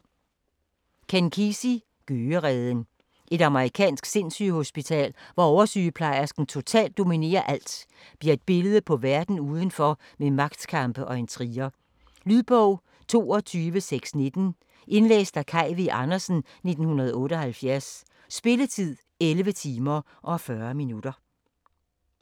Kesey, Ken: Gøgereden Et amerikansk sindssygehospital, hvor oversygeplejersken totalt dominerer alt, bliver et billede på verden udenfor med magtkampe og intriger. Lydbog 22619 Indlæst af Kaj V. Andersen, 1978. Spilletid: 11 timer, 40 minutter.